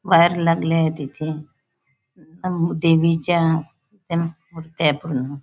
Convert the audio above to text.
बाहेर लागले आहेत इथे अ देवीच्या त्या मुर्त्या आहे पूर्ण.